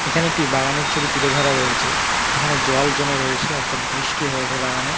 এখানে একটি বাগানের ছবি তুলে ধরা হয়েছে যেখানে জল জমে রয়েছে অর্থাৎ বৃষ্টি হয়েছে বাগানে।